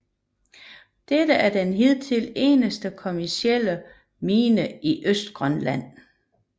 Dette er den hidtil eneste kommercielle mine i Østgrønland